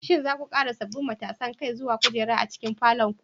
Shin za ku ƙara sabbin matasan kai zuwa kujera a cikin falon ku?